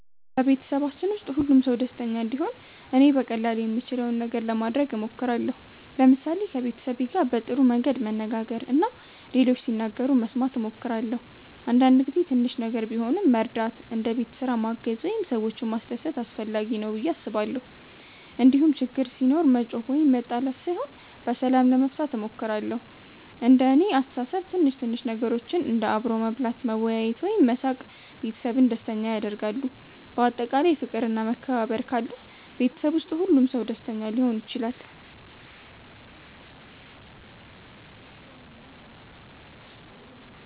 በቤተሰባችን ውስጥ ሁሉም ሰው ደስተኛ እንዲሆን እኔ በቀላሉ የምችለውን ነገር ለማድረግ እሞክራለሁ። ለምሳሌ ከቤተሰቤ ጋር በጥሩ መንገድ መነጋገር እና ሌሎች ሲናገሩ መስማት እሞክራለሁ። አንዳንድ ጊዜ ትንሽ ነገር ቢሆንም መርዳት እንደ ቤት ስራ ማገዝ ወይም ሰዎችን ማስደሰት አስፈላጊ ነው ብዬ አስባለሁ። እንዲሁም ችግር ሲኖር መጮኽ ወይም መጣል ሳይሆን በሰላም ለመፍታት እሞክራለሁ። እንደ እኔ አስተሳሰብ ትንሽ ትንሽ ነገሮች እንደ አብሮ መብላት፣ መወያየት ወይም መሳቅ ቤተሰብን ደስተኛ ያደርጋሉ። በአጠቃላይ ፍቅር እና መከባበር ካለ ቤተሰብ ውስጥ ሁሉም ሰው ደስተኛ ሊሆን ይችላል።